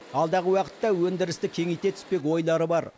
алдағы уақытта өндірісті кеңейте түспек ойлары бар